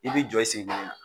I bɛ jɔ i sen kelen na